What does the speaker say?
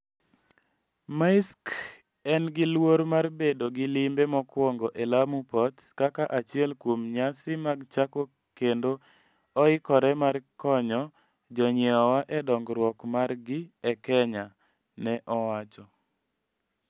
Maersk en gi luor mar bedo gi limbe mokwongo e Lamu Port kaka achiel kuom nyasi mag chako kendo oikore mar konyo jonyiewowa e dongruok margi e Kenya, ne owacho.